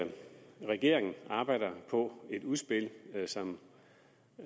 at regeringen arbejder på et udspil som